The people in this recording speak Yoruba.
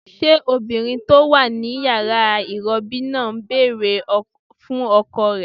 Ṣé obìnrin tó wà ní yàrá ìrọbí náà ń bèrè fún ọkọ rẹ̀?